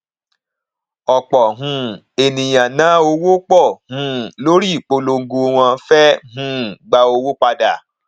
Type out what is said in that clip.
ọpọ um ènìyàn ná owó pọ um lórí ìpolongo wọn fé um gba owó padà